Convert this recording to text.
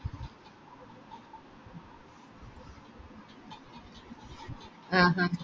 ആഹ് ആഹ്